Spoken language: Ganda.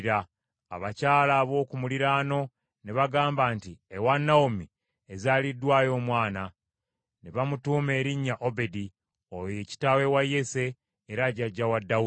Abakyala ab’oku muliraano ne bagamba nti, “Ewa Nawomi ezaaliddwayo omwana.” Ne bamutuuma erinnya Obedi, oyo ye kitaawe wa Yese, era jjajja wa Dawudi.